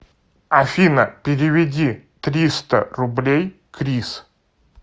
афина переведи триста рублей крис